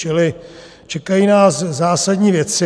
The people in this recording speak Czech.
Čili čekají nás zásadní věci.